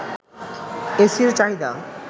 এসির চাহিদা